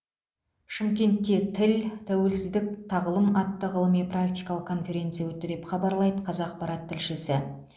шымкентте тіл тәуелсіздік тағылым атты ғылыми практикалық конференция өтті деп хабарлайды қазақпарат тілшісі